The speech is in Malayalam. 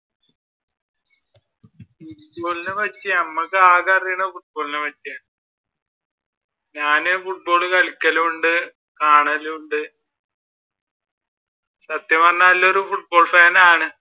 Football നെ പറ്റി നമുക്ക് ആകെ അറിയാവുന്നത് football നെ പറ്റിയാണ്. ഞാൻ ഫുട്ബോൾ കളികളും ഉണ്ട് കാണലും ഉണ്ട് സത്യം പറഞ്ഞാൽ ഒരു football fan ആണ്